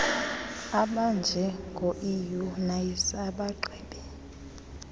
abanjengo eunice abagqibe